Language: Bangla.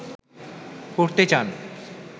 করতে চান